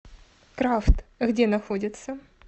крафт где находится